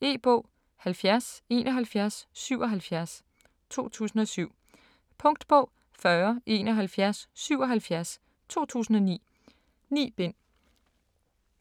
E-bog 707177 2007. Punktbog 407177 2009. 9 bind.